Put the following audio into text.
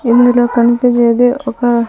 ఇందులో కనిపిచ్చేది ఒక--